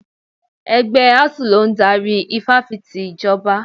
Ẹgbẹ́ Asuu ló ń darí Ifáfìti Ìjọba.